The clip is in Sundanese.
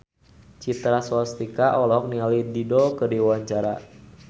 Citra Scholastika olohok ningali Dido keur diwawancara